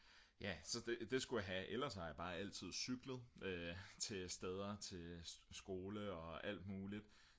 ja så det skulle jeg have ellers har jeg bare altid cyklet til steder til skole og alt muligt